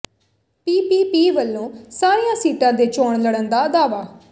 PPP ਵੱਲੋਂ ਸਾਰੀਆਂ ਸੀਟਾਂ ਤੇ ਚੋਣ ਲੜਨ ਦਾ ਦਾਅਵਾ